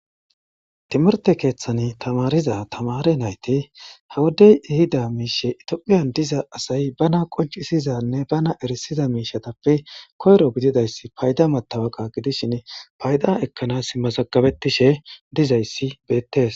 Timirtte keththan tamariza tamaare nayti ha wodey ehida mishshe ittophphiyan diiza asay baana qonccissixanne baana errisiza mishshappe koyrro giddidayssi fayda mattawaqqa giidishin fayda ekkanas mazagabetishshe diizayssi bettes.